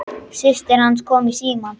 Systir hans kom í símann.